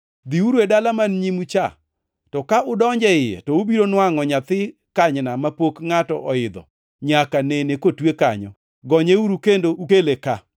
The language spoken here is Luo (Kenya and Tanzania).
“Dhiuru e dala man nyimu cha, to ka udonjo e iye, to ubiro nwangʼo nyathi kanyna mapok ngʼato oidho nyaka nene kotwe kanyo. Gonyeuru kendo ukele ka.